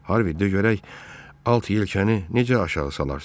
Harvi, görək alt yelkəni necə aşağı salarsan?